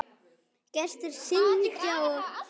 Gestir syngja sig hása.